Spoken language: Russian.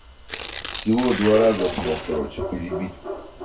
всего два раза смог короче перебить